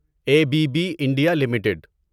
a B B India limited